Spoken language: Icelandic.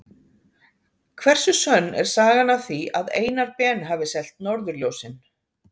hversu sönn er sagan af því að einar ben hafi selt norðurljósin